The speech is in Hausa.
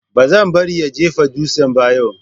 Ba zan bari ya jefa dutsen ba yau.